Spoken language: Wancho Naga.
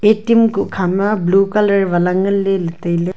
atm kuk kha ma blue colour wala ngan ley le tailey.